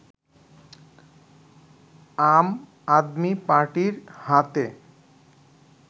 আম আদমি পার্টির হাতে